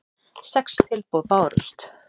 Sex tilboð bárust.